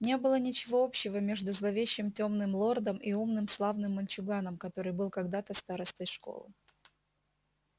не было ничего общего между зловещим тёмным лордом и умным славным мальчуганом который был когда-то старостой школы